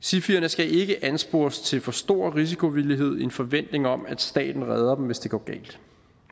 sifierne skal ikke anspores til for stor risikovillighed i en forventning om at staten redder dem hvis det går galt